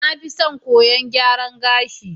Na fi son koyon gyaran gashi.